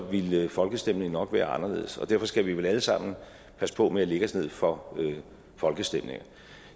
ville folkestemningen nok være anderledes derfor skal vi vel alle sammen passe på med at lægge os ned for folkestemninger